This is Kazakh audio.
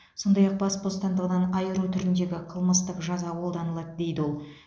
сондай ақ бас бостандығынан айыру түріндегі қылмыстық жаза қолданылады дейді ол